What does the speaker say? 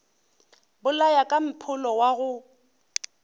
bolaya ka mpholo wa go